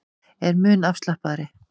Er mun afslappaðri